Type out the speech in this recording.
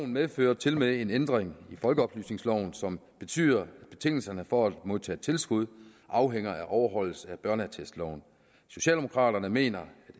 medfører tilmed en ændring i folkeoplysningsloven som betyder at betingelserne for at modtage tilskud afhænger af overholdelse af børneattestloven socialdemokraterne mener